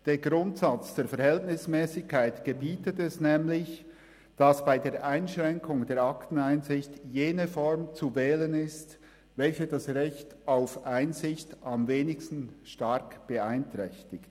Der Grundsatz der Verhältnismässigkeit gebietet es nämlich, dass bei der Einschränkung der Akteneinsicht jene Form zu wählen ist, welche das Recht auf Einsicht am wenigsten stark beeinträchtigt.